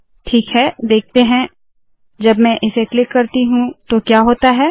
ठीक है देखते है जब में इसे क्लिक करती हूँ तो क्या होता है